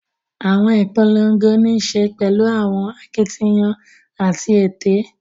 Awọn ipolongo nii ṣe pẹlu awọn akitiyan ati ete